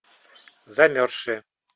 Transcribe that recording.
замерзшие